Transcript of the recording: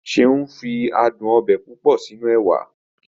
Seun fi adùn ọbẹ̀ púpọ̀ sínú ẹwà